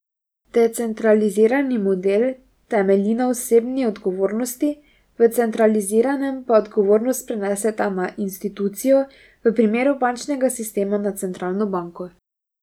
Decentralizirani model temelji na osebni odgovornosti, v centraliziranem pa odgovornost prenesete na institucijo, v primeru bančnega sistema na centralno banko.